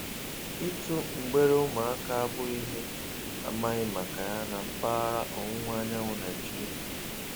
Ịtụ mgbere ụmụaka abụghị ihe amaghị maka ya na mpaghara Ọwụwa Anyanwụ Naịjirịa